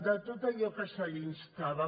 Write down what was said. de tot allò a què se l’instava